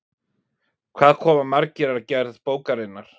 Hvað koma margir að gerð bókarinnar?